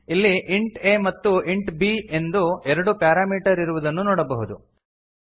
ಇಲ್ಲಿ int a ಮತ್ತು int b ಎಂದು ಎರಡು ಪ್ಯಾರಾಮೀಟರ್ ಇರುವುದನ್ನು ನೋಡಬಹುದು